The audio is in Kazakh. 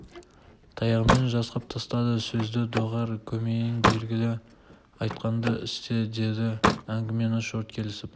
таяғымен жасқап тастады сөзді доғар көмейің белгілі айтқанды істе деді әңгімені шорт кесіп